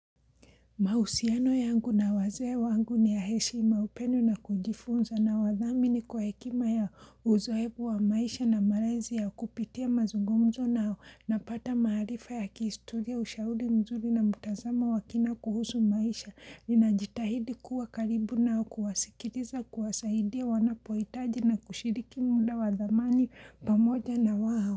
Mahusiano yangu na wazee wangu ni ya heshima upendo na kujifunza na wadhamini kwa hekima yao uzoefu wa maisha na malezi yao kupitia mazungumzo nao napata maaarifa ya kihistoria ushauri mzuri na mutazamo wakina kuhusu maisha. Ninajitahidi kuwa karibu nao kuwasikiliza kuwasaidia wanapohitaji na kushiriki muda wa thamani pamoja na wao.